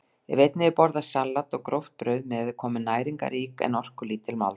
Ef einnig er borðað salat og gróft brauð með er komin næringarrík en orkulítil máltíð.